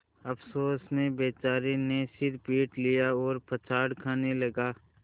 अफसोस में बेचारे ने सिर पीट लिया और पछाड़ खाने लगा